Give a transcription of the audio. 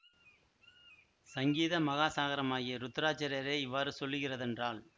சங்கீத மகாசாகரமாகிய ருத்ராச்சரரே இவ்வாறு சொல்லுகிறதென்றால்